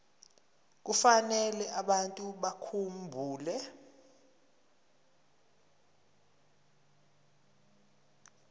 kufanele abantu bakhumbule